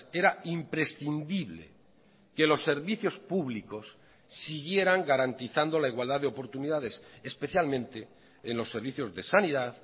era imprescindible que los servicios públicos siguieran garantizando la igualdad de oportunidades especialmente en los servicios de sanidad